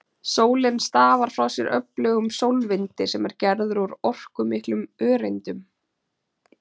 Sólin stafar frá sér öflugum sólvindi sem er gerður úr orkumiklum öreindum.